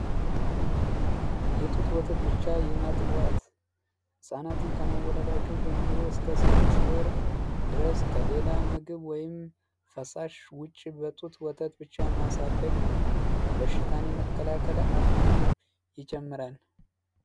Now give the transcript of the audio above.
የጡት ወተት ብቻ የማጥባት ህጻናትን ከመወለዳቸው ጀምሮ እስከ ስድስት ወር ውጪ ድረስ ከሌላ ምግብ ወይም ፈሳሽ ውጪ በጡት ወተት ብቻ ማሳደግ ነው። በሽታን የመከላከል አቅምንም ይጨምራል።